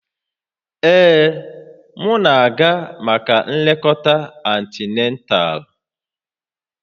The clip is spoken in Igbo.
Ee, m na-aga maka nlekọta antinatal